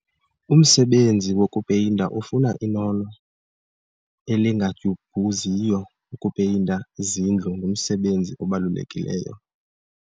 Umsebenzi wokupeyinta ufuna inono elingadyubhuziyo. ukupeyinta izindlu ngumsebenzi obalulekileyo